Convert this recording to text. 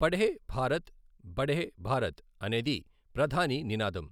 పఢే భారత్ బఢే భారత్ అనేది ప్రధాని నినాదం.